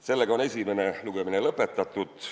Sellega on esimene lugemine lõpetatud.